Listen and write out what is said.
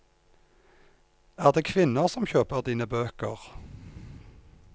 Er det kvinner som kjøper dine bøker?